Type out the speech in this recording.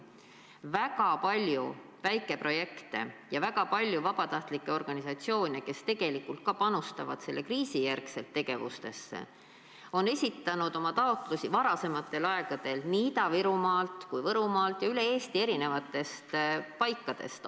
Väga palju väikeprojekte ja väga palju vabatahtlike organisatsioone, kes tegelikult ka panustavad selle kriisi järel vajalikesse tegevustesse, on esitanud taotlusi varem nii Ida-Virumaalt kui ka Võrumaalt ja üle Eesti eri paikadest.